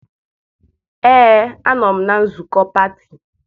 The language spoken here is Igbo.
ee a nọ m na nzukọ pati